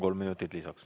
Kolm minutit lisaks.